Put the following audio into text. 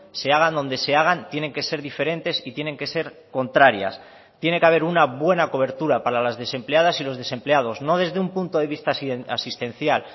se hagan donde se hagan tienen que ser diferentes y tienen que ser contrarias tiene que haber una buena cobertura para las desempleadas y los desempleados no desde un punto de vista asistencial